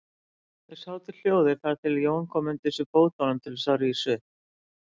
Þeir sátu hljóðir þar til Jón kom undir sig fótum til þess að rísa upp.